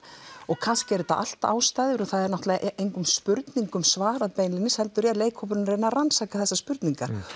og kannski eru þetta allt ástæður það er náttúrulega engum spurningum svarað beinlínis heldur byrjar leikhópurinn að rannsaka þessar spurningar